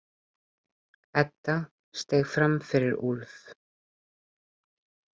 Edda steig fram fyrir Úlf.